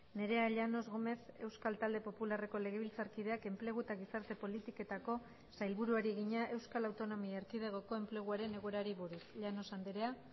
nerea llanos gómez euskal talde popularreko legebiltzarkideak enplegu eta gizarte politiketako sailburuari egina euskal autonomia erkidegoko enpleguaren egoerari buruz llanos andrea